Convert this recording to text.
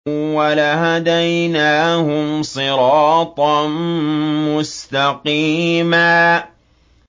وَلَهَدَيْنَاهُمْ صِرَاطًا مُّسْتَقِيمًا